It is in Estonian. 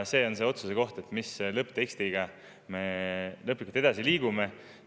See on otsuse koht, mis lõpptekstiga me lõplikult edasi liigume.